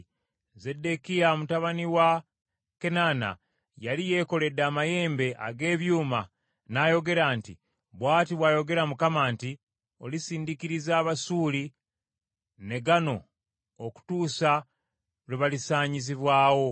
Zeddekiya mutabani wa Kenaana yali yeekoledde amayembe ag’ebyuma, n’ayogera nti, “Bw’ati bw’ayogera Mukama nti, ‘Olisindikiriza Abasuuli ne gano okutuusa lwe balisaanyizibwawo.’ ”